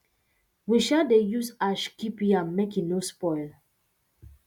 we um dey use ash keep yam make e no spoil